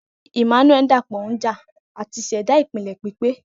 Emmanuel dapọ nja ati ṣẹda ipilẹ pipe.